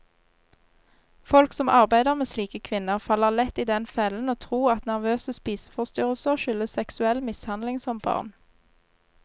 Folk som arbeider med slike kvinner, faller lett i den fellen å tro at nervøse spiseforstyrrelser skyldes seksuell mishandling som barn.